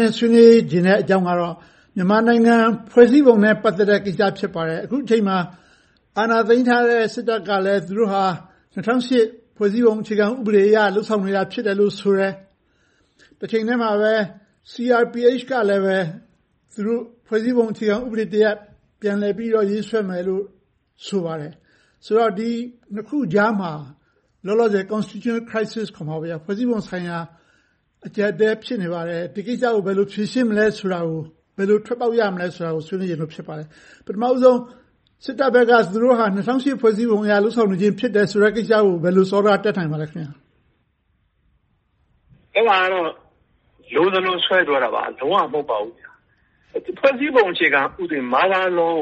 နဲ့ ဆွေးနွေးချင်တဲ့ အကြောင်းအရာကတော့ မြန်မာနိုင်ငံ ဖွဲ့စည်းပုံဥပဒေနဲ့ ပတ်သက်တဲ့အကြောင်း ဖြစ်ပါတယ်။ အခုအချိန်မှာ အာဏာသိမ်းထားတဲ့ စစ်တပ်ကလဲ သူတို့ဟာ ၂၀၀၈ ဖွဲ့စည်းပုံအခြေခံဥပဒေအရ လုပ်ဆောင်နေတယ်လို့ ဆိုတယ်။ တချိန်တည်းမှာပဲ CRPH ကလဲ သူတို့က ဖွဲ့စည်းပုံအခြေခံဥပဒေသစ်တစ်ရပ် ပြန်လည်ပြီးတော့ ရေးဆွဲမယ်လို့ ဆိုပါတယ်။ ဒီနှစ်ခုကြားမှာ လောလောဆယ် Constitutional Crisis ခေါ်မှာပေါ့ ဖွဲ့စည်းပုံဆိုင်ရာ အကျပ်အတည်း ဖြစ်နေပါတယ်။ ဒီကိစ္စကို ဘယ်လိုဖြေရှင်းမလဲဆိုတာ၊ ဘယ်လိုထွက်ပေါက်ရမလဲဆိုတာကို ဆွေးနွေးချင်လို့ ဖြစ်ပါတယ်။ ပထမဦးဆုံး စစ်တပ်ဘက်က သူတို့ဟာ ၂၀၀၈ ဖွဲ့စည်းပုံ အခြေခံဥပေဒေအရ လုပ်ဆောင်နေခြင်းဆိုတဲ့ ကိစ္စကို ဘယ်လိုစောဒက တက်နိုင်ပါသလဲ။ ဖြေ ။ ။ အဲဒါကတော့ လိုသလို ဆွဲပြောတာပါ။ လုံးဝ မဟုတ်ပါဘူး။ ဖွဲ့စည်းပုံအခြေခံဥပဒေ Mother Law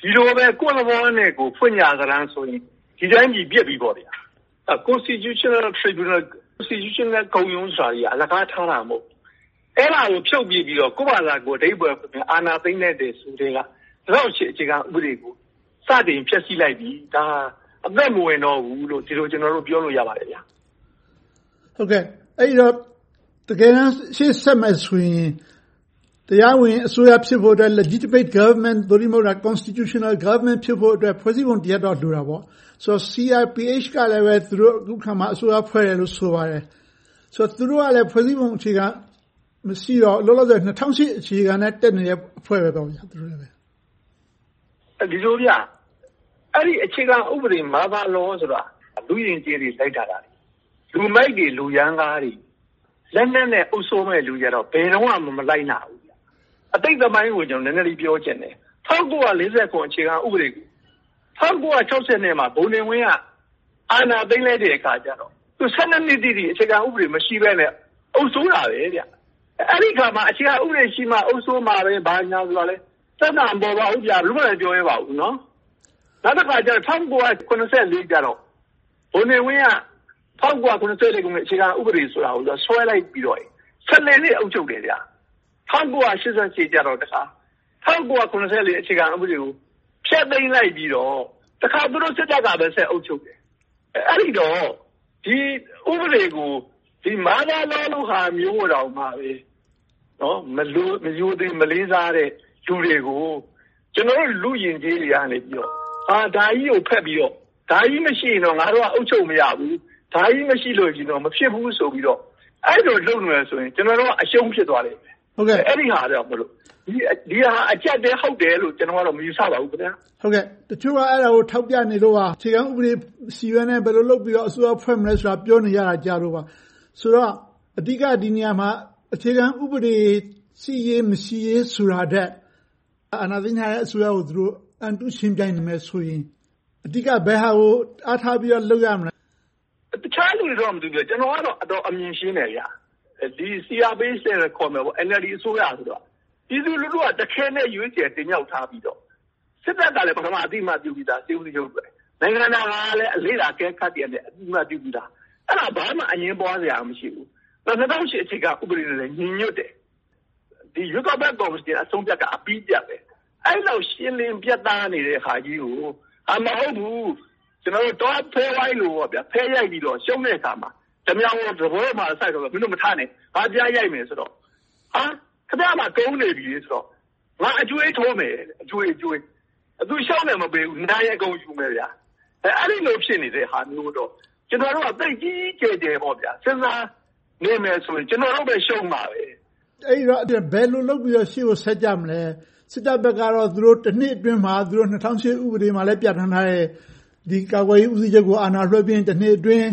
ကို ဒီလိုပဲ ကိုယ့်သဘောနဲ့ကိုယ် ဖွင့်ကြစတမ်းဆိုရင် ဒီတိုင်းပြည်ပျက်ပြီပေါ့။ Constitional Tribunal အခြေခံဥပဒေခုံရုံး ဆိုတာ အလကားထားတာ မဟုတ်ဘူး။ အဲဒါကို ဖြုတ်ပစ်ပြီးတော့ ကိုယ့်ဘာသာကိုယ် အဓိပ္ပါယ်ဖွင့်ပြီး အာဏာသိမ်းလိုက်တယ်ဆိုကတည်းက ၂၀၀၈ အခြေခံဥပဒေကို စတင်ဖျက်ဆီးလိုက်ပြီ။ ဒါဟာ အသက်မဝင်တော့ဘူးလို့ ကျနော်တို့ ပြောလို့ရပါတယ်။ မေး ။ ။ အဲဒီတော့ တကယ်တမ်း ရှေ့ဆက်မယ်ဆိုရင် တရားဝင်အစိုးရ ဖြစ်ဖို့အတွက် Legitimate Government သို့တည်းမဟုတ် Constitutional Government ဖြစ်ဖို့အတွက် ဖွဲ့စည်းပုံတစ်ရပ်တော့ လိုတာပေါ့။ ဆိုတော့ CRPH ကလည်း သူတို့က အခုအခါမှာ အစိုးရ ဖွဲ့တယ်လို့ ဆိုပါတယ်။ သူတို့ကလဲ လောလောဆယ် ဖွဲ့စည်းပုံ မရှိတော့ ၂၀၀၈ အခြေခံနဲ့ တက်နေတဲ့ အဖွဲ့ဖြစ်နေတယ်။ ဖြေ ။ ။ အဲဒီ အခြေခံဥပဒေ Mother Law ဆိုတာ လူ့ယဉ်ကျေးတွေ တိုင်းတာတာ၊ လူမိုက်တွေ၊ လူရမ်းကားတွေ လက်နက်နဲ့ အုပ်စိုးမယ့် လူတွေကတော့ ဘယ်တော့မှ မလိုက်နာဘူး။ အတိတ်သမိုင်းကို နည်းနည်းလေး ပြောချင်တယ်။ ၁၉၄၇ အခြေခံဥပဒေကို ၁၉၆၂ ခုနှစ်မှာ ဗိုလ်နေဝင်းက အာဏာသိမ်းလိုက်တဲ့အခါကြတော့ နှစ်တိတိ အခြေခံဥပဒေ မရှိဘဲနဲ့ အုပ်စိုးခဲ့တယ်။ အဲဒီအခါမှာ အခြေခံဥပဒေရှိမှ အုပ်စိုးမှာပဲ ဘာညာဆိုတာလဲ ပြဿနာ မပေါ်ပါဘူး။ ဘယ်သူမှလဲ မပြောရဲပါဘူး။ နောက်တခါ ၁၉၇၄ ကျတော့ ဗိုလ်နေဝင်းက ၁၉၇၄ အခြေခံဥပဒေကို ဆွဲလိုက်ပြီးတော့ နှစ် အုပ်ချုပ်တယ်။ ၁၉၈၈ ကျတော့ ၁၉၇၄ အခြေခံဥပဒေကို ဖျက်သိမ်းလိုက်ပြီးတော့ သူတို့စစ်တပ်ကပဲ ဆက်အုပ်ချုပ်တယ်။ အဲဒီတော့ ဒီဥပဒေကို Mother Law လိုဟာမျိုးကိုတောင်မှ မရိုသေ၊ မလေးစားတဲ့ လူတွေကို ကျနော်တို့ လူ့ယဉ်ကျေးတွေက ဒါကြီးကိုဖက်ပြီးတော့ ဒါကြီးမရှိရင်တော့ ငါတို့က အုပ်ချုပ်မရဘူး။ ဒါကြီးမရှိရင်တော့ မဖြစ်ဘူးဆိုပြီးတော့ အဲဒီလိုလုပ်နေမယ်ဆိုရင် ကျနော်တို့က အရှုံးဖြစ်သွားလိမ့်မယ်။ ဒီဟာက အကျပ်အတည်း ဟုတ်တယ်လို့တော့ မယူဆပါဘူး။ မေး ။ ။ တချို့က အဲဒါကို ထောက်ပြနေလို့ပါ။ အခြေခံဥပဒေ မရှိဘဲနဲ့ ဘယ်လိုလုပ်ပြီးတော့ အစိုးရဖွဲ့မလဲဆိုတာကို ပြောနေကြတာကို ကြားလို့ပါ။ အဓိက ဒီနေရာမှာ အခြေခံဥပဒေ ရှိရေး၊ မရှိရေး ဆိုတာထက်၊ အာဏာသိမ်းအစိုးရကို သူတို့ အန်တုယှဉ်ပြိုင်မယ်ဆိုရင် အဓိက ဘယ်ဟာကို အားထားပြီးတော့ လုပ်ရမလဲ။ ဖြေ ။ ။ တခြားလူတွေတော့ မသိဘူး။ ကျနော်ကတော့ အတော်အမြင်ရှင်းတယ်။ CRPH ခေါ်တဲ့ NLD အစိုးရက ပြည်သူလူထုက တခဲနက် ရွေးချယ်တင်မြှောက်ထားပြီးတော့၊ စစ်တပ်ကလဲ အသိအမှတ်ပြုပြီသား။ နိုင်ငံတကာ လေ့လာအကဲခတ်တွေကလဲ အသိအမှတ်ပြုပြီသား။ အဲဒါကို ဘာမှ အငြင်းပွားစရာ မရှိဘူး။ ၂၀၀၈ အခြေခံဥပဒေနဲ့လည်း ညီညွှတ်တယ်။ ရွေးကောက်ပွဲကော်မရှင် အဆုံးအဖြတ်က အပြီးအပြတ်ပဲ။ အဲဒီလောက် ရှင်းလင်းပြတ်သားနေတဲ့ဟာကြီးကို မဟုတ်ဘူး၊ ကျနော်တို့ တောဖဲဝိုင်းလိုပေါ့ - ဖဲရိုက်ပြီးတော့ ရှုံးတဲ့အခါမှာ ဓါးမြောင်းကို စားပွဲပေါ်စိုက်ပြီး မင်းတို့မထနဲ့ ပြန်ရိုက်မယ်ဆိုတော့၊ ခင်များမှာ ကုန်နေပြီဆိုတော့ ငါကအကြွေးထိုးမယ်တဲ့။ သူရှုံးရင် မပေးဘူး။ နိုင်ရင်အကုန်ယူမယ်။ အဲဒီလို ဖြစ်နေတဲ့ဟာမျိုးတော့ ကျနော်တို့က သိပ်ကြီးကြီးကျယ်ကျယ် စဉ်းစားနေမယ်ဆိုရင် ကျနော်တို့ပဲ ရှုံးမှာပဲ။ မေး ။ ။ အဲဒီတော့ ဘယ်လိုလုပ်ပြီးတော့ ရှေ့ကိုဆက်ကြမလဲ။ စစ်တပ်ကတော့ သူတို့ နှစ်အတွင်းမှာ ၂၀၀၈ ဥပဒေမှာလည်း ပြဌာန်းထားတဲ့ ကာကွယ်ရေးဦးစီးချုပ်ကို အာဏာလွှဲပေးပြီး နှစ်အတွင်း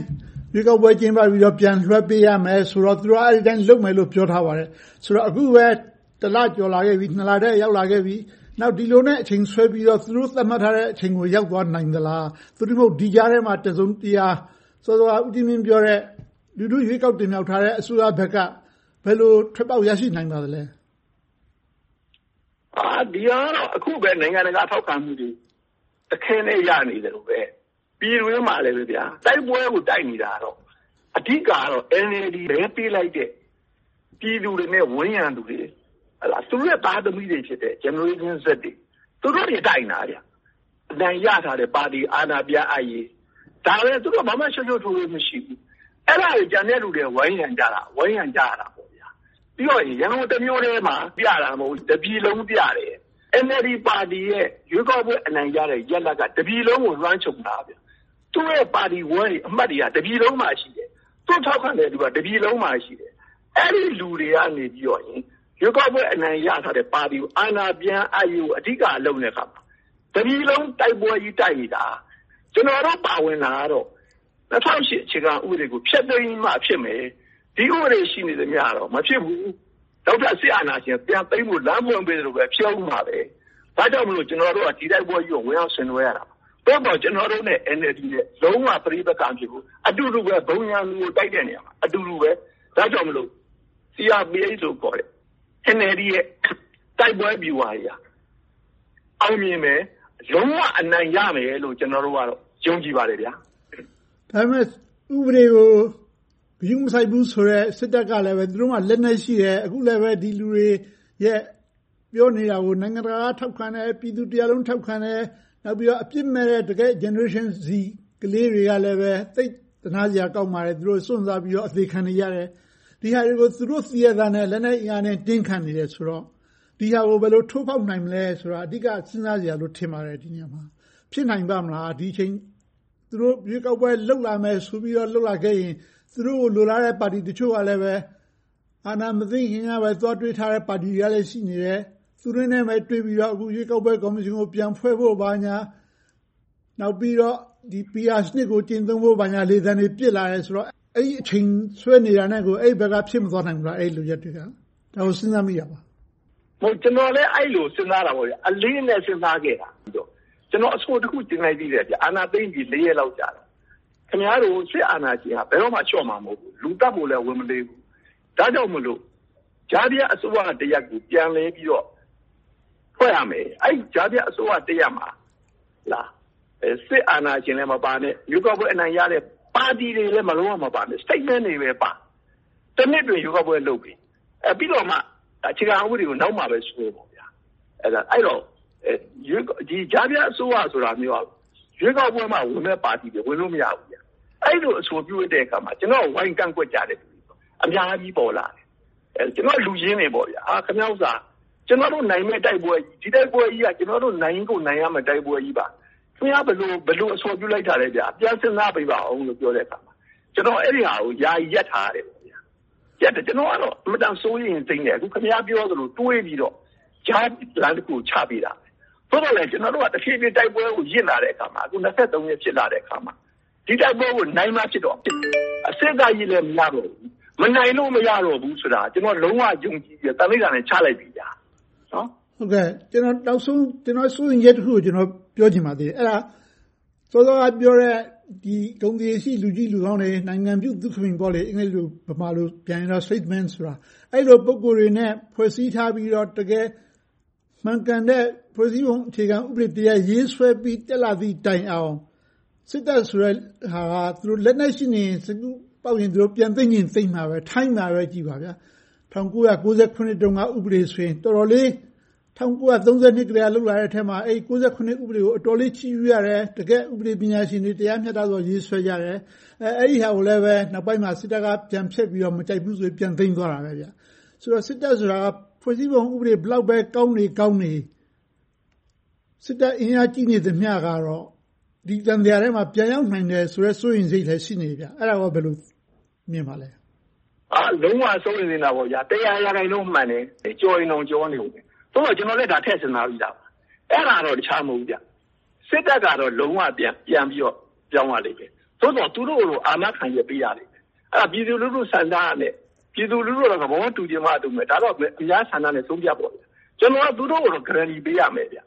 ရွေးကောက်ပွဲ ကျင်းပပြီးတော့ အာဏာလွဲပေးရမယ်ဆိုတော့ အဲဒီအတိုင်း လုပ်ပေးမယ်လို့ ပြောထားပါတယ်။ ဆိုတော့ အခုပဲ လ ကျော်လာခဲ့ပြီ၊ လထဲ ရောက်လာခဲ့ပြီ။ ဒီလိုနဲ့ အချိန်ဆွဲပြီးတော့ သူတို့သတ်မှတ်ထားတဲ့ အချိန်ကို ရောက်သွားနိုင်သလား။ သို့တည်းမဟုတ် ဒီကြားထဲမှာ တစုံတရာ စောစောက ဦးကြီးမြင့်ပြောတဲ့ လူထုရွေးကောက်တင်မြှောက်ထားတဲ့ အစိုးရဘက်က ဘယ်လိုထွက်ပေါက် ရရှိနိုင်ပါသလဲ။ ဖြေ ။ ။ ဒီဟာကတော့ အခုပဲ နိုင်ငံတကာ ထောက်ခံမှုတွေ တခဲနက် ရနေတယ်။ ပြည်တွင်းမှာလဲ တိုက်ပွဲကို တိုက်နေတာကတော့ အဓိကတော့ NLD မဲပေးလိုက်တဲ့ ပြည်သူတွေနဲ့ ဝန်းရံခဲ့တဲ့လူတွေ။ သူတို့တွေရဲ့ သားသမီးတွေဖြစ်တဲ့ Generation Z တွေ။ သူတို့တွေ တိုက်နေတာ။ အနိုင်ရထားတဲ့ ပါတီကို အာဏာပြန်အပ်ရေး။ ဒါပဲ ဘာမှရှုပ်ရှုပ်ထွေထွေ မရှိဘူး။ အဲဒါတွေကို ကျန်တဲ့လူတွေက ဝိုင်းရံကြတာ။ ပြီးတော့ ရန်ကုန်တမြို့တည်းမှာ ပြနေကြတာ မဟုတ်ဘူး။ တပြည်လုံးမှာ ပြနေတာ။ NLD ပါတီရဲ့ ရွေးကောက်ပွဲ အနိုင်ရတဲ့ ရလဒ်က တပြည်လုံးကို လွှမ်းခြုံတာ။ သူ့ရဲ့ပါတီအဖွဲ့ဝင်တွေက တပြည်လုံးမှာ ရှိတယ်။ သူကို ထောက်ခံတဲ့လူတွေက တပြည်လုံးမှာ ရှိတယ်။ အဲဒီလူတွေက ရွေးကောက်ပွဲ အနိုင်ရထားတဲ့ ပါတီကို အာဏာပြန်အပ်ရေးကို အဓိက လုပ်တဲ့အခါမှာ တပြည်လုံးတိုက်ပွဲကြီး တိုက်နေတာ။ ကျနော်တို့ ပါဝင်တာကတော့ ၂၀၀၈ အခြေခံဥပဒေကို ဖျက်သိမ်းမှ ဖြစ်မယ်။ ဒီဥပဒေ ရှိနေသမျှတော့ မဖြစ်ဘူး။ နောက်ထပ် စစ်အာဏာရှင် ပြန်သိမ်းဖို့ လမ်းဖွင့်ပေးသလိုပဲ ဖြစ်အုံးမှာပဲ။ ဒါကြောင့်မို့ ကျနော်တို့က ဒီတိုက်ပွဲကြီးကို ဝင်ရောက်ဆင်နွှဲနေရတာ။ သို့သော် ကျနော်တို့နဲ့ NLD နဲ့ လုံးဝပဋိပက္ခ မဖြစ်ဘူး။ အတူတူပဲ ဘုံရန်သူကို တိုက်တဲ့နေရာမှာ အတူတူပဲ။ ဒါကြောင့်မို့လို့ CRPH လို့ခေါ်တဲ့ NLD ရဲ့ တိုက်ပွဲဗျူဟာက အောင်မြင်မယ်။ လုံးဝအနိုင်ရမယ်လို့ ကျနော်တို့ကတော့ ယုံကြည်ပါတယ်။ မေး ။ ။ ဒါပေမဲ့ ဥပဒေကို ဂရုမစိုက်ဘူးဆိုတဲ့ စစ်တပ်ကလဲ သူတို့မှာ လက်နက်ရှိတယ်။ အခုလဲပဲ ဒီလူတွေ ပြောနေတာကို နိုင်ငံတကာက ထောက်ခံတယ်၊ ပြည်သူလူထုတရပ်လုံး ထောက်ခံတယ်။ နောက်ပြီးတော့ အပြစ်မဲ့တဲ့ တကယ့် Generation Z ကလေးတွေကလဲ သိပ်သနားစရာ ကောင်းပါတယ်။ သူတို့စွန့်စားပြီးတော့ အသေခံနေကြရတယ်။ ဒီဟာတွေကို သူတို့သိရဲ့သားနဲ့ လက်နက်အားကိုးနဲ့ တင်းခံနေတယ်ဆိုတော့ ဒီဟာကို ဘယ်လိုထိုးဖောက်နိုင်မလဲဆိုတာ အဓိက စဉ်းစားစရာလို့ ထင်ပါတယ်။ ဖြစ်နိုင်ပါ့မလား။ ဒီအချိန်မှာ သူတို့ရွေးကောက်ပွဲ လုပ်လာမယ်ဆိုပြီးတော့ လုပ်လာခဲ့ရင် သူတို့ကို လိုလားတဲ့ ပါတီတချို့ကလဲ အာဏာမသိမ်းခင်ကပဲ သွားတွေ့ထားတဲ့ ပါတီတွေကလဲ ရှိနေတယ်။ သူတို့နဲ့ပဲ တွေ့ပြီးတော့ ရွေးကောက်ပွဲကော်မရှင်သစ်ကို ပြန်ဖွဲ့ဖို့ ဘာညာ။ နောက်ပြီးတော့ PR စနစ်ကို ကျင့်သုံးဖို့ လေသံတွေ ပစ်လာတယ်ဆိုတော့ အဲဒီအချိန်တွေ ဆွဲနေတာနဲ့ အဲဒီဘက်က ဖြစ်မသွားနိုင်ဘူးလား။ ဒါကို စဉ်းစားမိတာပါ။ ဖြေ ။ ။ ကျနော်လဲ အဲဒီလို အလေးအနက် စဉ်းစားခဲ့တယ်။ ကျနော် အဆိုတစ်ခု တင်လိုက်သေးတယ်။ အာဏာသိမ်းပြီးတော့ ရက်အကြာမှာ။ ခင်များတို့ကို စစ်အာဏာရှင်က ဘယ်တော့မှ လျှော့မှာမဟုတ်ဘူး။ လူသတ်ဖို့လဲ ဝန်မလေးဘူး။ ဒါကြောင့်မို့ ကြားဖြတ်အစိုးရတစ်ရပ်ကို ပြန်လည်ပြီးတော့ ဖွဲ့ရမယ်။ အဲဒီကြားဖြတ်အစိုးရတစ်ရပ်မှာ စစ်အာဏာရှင်လဲ မပါနဲ့။ ရွေးကောက်ပွဲ အနိုင်ရတဲ့ ပါတီတွေလည်း လုံးဝမပါနဲ့။ Statemen တွေပဲပါ။ နှစ်အတွင်း ရွေးကောက်ပွဲလုပ်ပေး။ ပြီးတော့မှ အခြေခံဥပဒေကို နောက်မှ ပြန်ရေးဆွဲပေါ့။ အဲဒီတော့ ကြားဖြတ်အစိုးရဆိုတာက ရွေးကောက်ပွဲမှာဝင်တဲ့ ပါတီတွေ ဝင်လို့ မရဘူး။ အဲဒီလို အဆိုပြုတဲ့အခါမှာ ကျနော့်ကို ဝိုင်းကန့်ကွက်ကြတယ်။ အများကြီးပေါ်လာတယ်။ ကျနော့်လူရင်းတွေပါ။ ခင်များဥစ္စာက ကျနော်တို့ နိုင်မယ့်တိုက်ပွဲက - ဒီတိုက်ပွဲကြီးက ကျနော်တို့ နိုင်ကိုနိုင်ရမယ့် တိုက်ပွဲ။ ဒီတိုက်ပွဲကြီးမှာ ဘယ်လိုအဆိုပြုလိုက်တာလဲ။ ပြန်စဉ်းစားပေးပါအုံးလို့ ပြောတဲ့အခါမှာ ကျနော်က အဲဒီဟာကို ယာယီရပ်ထားရတယ်။ ကျနော်ကတော့ အင်မတန် စိုးရိမ်စိတ်နဲ့ ခင်များပြောသလို တွေးပြီးတော့ ကြားလမ်းတစ်ခုကို ချပေးတာ။ သို့ပေမဲ့ ကျနော်တို့က တိုက်ပွဲကို ရစ်လာတဲ့အခါမှာ အခု ရက် ဖြစ်လာတဲ့အခါမှာ ဒီတိုက်ပွဲကို နိုင်မှဖြစ်တော့မယ်။ စေ့စပ်ရေးလဲ မရတော့ဘူး။ မနိုင်လို့ မရတော့ဘူးဆိုတာ ကျနော် လုံးဝယုံကြည်တယ်။ သံဓိဌာန်လည်း ချလိုက်ပြီ။ မေး ။ ။ နောက်ဆုံး ကျနော့်စိုးရိမ်ချက်တစ်ခုကို ပြောချင်ပါသေးတယ်။ အဲဒါက စောစောကပြောတဲ့ ဂုဏ်သရေရှိ လူကြီးလူကောင်းတွေ၊ နိုင်ငံပြုသုခမိန်တွေခေါ်တဲ့ Statemen တွေ အဲဒီလို ပုဂ္ဂိုလ်တွေနဲ့ ဖွဲ့စည်းထားပြီးတော့ တကယ်မှန်ကန်တဲ့ ဖွဲ့စည်းပုံအခြေခံဥပဒေတစ်ရပ် ရေးဆွဲပြီး တက်လာသည့်တိုင်အောင် စစ်တပ်ဆိုတဲ့ဟာက သူတို့လက်နက်ရှိနေရင်၊ စိတ်ကူးပေါက်ရင် ပြန်သိမ်းရင် သိမ်းမှာပဲ။ ထိုင်းမှာပဲကြည့်။ ၁၉၉၇ ခုနှစ်တုန်းက ဥပဒေဆိုရင် ၁၉၃၂ ခုနှစ်ကတည်းက လုပ်လာတဲ့အထဲမှာ ၉၇ ဥပဒေကို အတော်လေး ချီးကျူးကြတယ်။ တကယ့် ဥပဒေပညာရှင်တွေ တရားမျှတစွာ ရေးဆွဲကြတယ်။ အဲဒီဟာကိုလဲ နောက်ပိုင်းမှာ စစ်တပ်က ပြန်ဖျက်ပြီးတော့ အာဏာပြန်သိမ်းတယ်။ ဆိုတော့ စစ်တပ်ဆိုတာက ဖွဲ့စည်ညးပုံဥပဒေ ဘယ်လောက်ပဲကောင်းနေ ကောင်းနေ။ စစ်တပ်အင်အားကြီးနေသမျှကတော့ ဒီသံသရာထဲမှာ ပြန်ရောက်နိုင်တယ်ဆိုတဲ့ စိုးရိမ်စိတ်လည်း ရှိနေတော့ အဲဒါကို ဘယ်လိုမြင်ပါလဲ။ ဖြေ ။ ။ အဲဒါကို လုံးဝစိုးရိမ်သင့်တာပေါ့။ တစ်ရာရာခိုင်နှုန်းမှန်တယ်။ ကျော်ရင်တောင် ကျော်နေအုံးမယ်။ သို့သော် အဲဒါကိုလဲ ထည့်စဉ်းစားပြီသားပါ။ အဲဒါက တခြားတော့ မဟုတ်ဘူး။ စစ်တပ်က လုံးဝပြန်ပြီးတော့ ပြောင်းရလိမ့်မယ်။ သို့သော် သူတို့ကို အာမခံချက် ပေးရလိမ့်မယ်။ အဲဒါ ပြည်သူလူထုဆန္ဒနဲ့ ပြည်သူလူထုကတော့ သဘောတူချင်မှ တူမယ်။ ဒါပေမဲ့ အများဆန္ဒနဲ့ ဆုံးဖြတ်ပေါ့။ ကျနော်တို့က သူတို့ကိုတော့ ဂရန်တီ ပေးရမယ်။ အ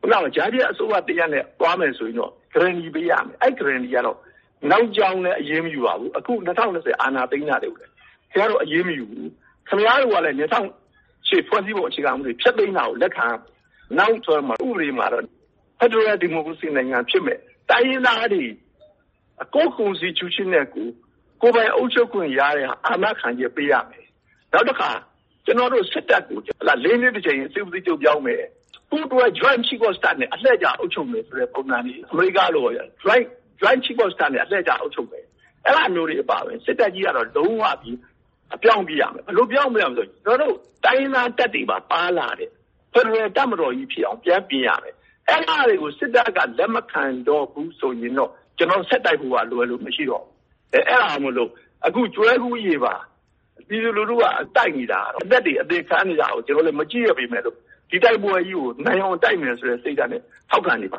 ခုနလို ကြားဖြတ်အစိုးရတရပ်နဲ့ သွားမယ်ဆိုရင်တော့ ဂရန်တီ ပေးရမယ်။ အဲဒီ ဂရန်တီကတော့ နောက်ကြောင်းလဲ အရေးမယူရဘူး။ အခု ၂၀၂၀ အာဏာသိမ်းတာတွေကိုလဲ ခင်များတို့ကို အရေးမယူဘူး။ ခင်များတို့ကလဲ ၂၀၀၈ အခြေခံဥပဒေ ဖျက်သိမ်းတာကို လက်ခံရမယ်။ နောက်ရေးဆွဲမယ့် ဥပဒေကတော့ ဖယ်ဒရယ်ဒီမိုကရေစီနိုင်ငံ ဖြစ်မယ့်၊ တိုင်းရင်းသားတွေ ကိုယ့် အခြေခံဥပဒေနဲ့ကိုယ်၊ ကိုယ်ပိုင်အုပ်ချုပ်ခွင့်ရတဲ့ဟာ အာမခံချက်ကို ပေးရမယ်။ နောက်တခါ ကျနော်တို့ စစ်တပ်ကို နှစ် တစ်ကြိမ် စစ်ဦးစီးချုပ်ပြောင်းမယ်။ ပူးတွဲ Joint Chief of Staff နဲ့ အလှည့်ကျ အုပ်ချုပ်မယ်ဆိုတဲ့ ပုံစံတွေ - အမေရိကလိုပေါ့ - Joint Chief of Staff နဲ့ အလှည့်ကျ အုပ်ချုပ်မယ်။ အဲဒါမျိုးတွေ အပါအဝင် စစ်တပ်ကြီးကတော့ လုံးုဝကြီး ပြောင်းပြစ်ရမယ်။ ဘယ်လိုပြောင်းမလဲဆိုရင် ကျနော်တို့ တိုင်းရင်းသားတပ်တွေပါ ပါလာတဲ့ ဖယ်ဒရယ်တပ်မတော်ကြီးဖြစ်အောင် ပြန်ပြင်ရမယ်။ အဲဒါကတွေကို စစ်တပ်က လက်မခံဘူးဆိုရင်တော့ ကျနော်တို့ ဆက်တိုက်ဖို့ကလွဲလို့ မရှိတော့ဘူး။ အဲဒါကြောင့်မို့ ကျွဲကူးရေပါ ပြည်သူလူထုက တိုက်နေတာ၊ အသက်တွေ အသေခံနေတာကို ကျနော်တို့လဲ မကြည့်ရက်ပေမယ့်လို့ ဒီတိုက်ပွဲကြီးကို နိုင်အောင်တိုက်မယ်ဆိုတဲ့ စိတ်ဓါတ်နဲ့ ထောက်ခံနေပါ